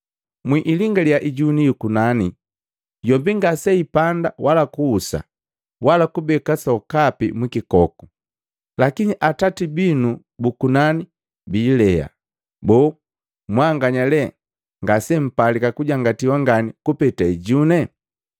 Mwilingaliya ijuni yu nnani, yombi ngaseipanda wala kuhusa wala kubeka sokapi mwikikoku, lakini Atati binu bu kunani biilea. Boo, mwanganya lee ngase mpalika kujangatiwa ngani kupeta ijune?